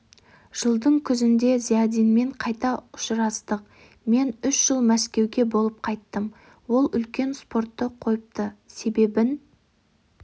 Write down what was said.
жылдың күзінде зиядинмен қайта ұшырастық мен үш жыл мәскеуде болып қайтқам ол үлкен спортты қойыпты себебін